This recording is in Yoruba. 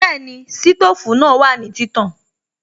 Bẹ́ẹ̀ni, sítòfù náà wà ní títàn